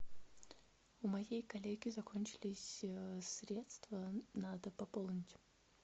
у моей коллеги закончились средства надо пополнить